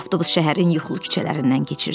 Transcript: Avtobus şəhərin yuxulu küçələrindən keçirirdi.